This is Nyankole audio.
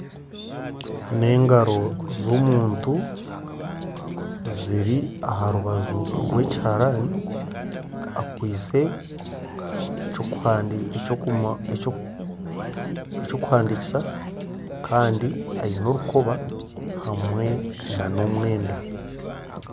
N'engaro z'omuntu ziri aha rubaju rw'ekiharaani akwaitse eky'okuhandiikisa kandi aine orukoba hamwe n'omwenda.